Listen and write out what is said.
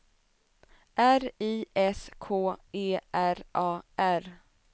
R I S K E R A R